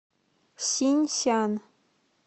синьсян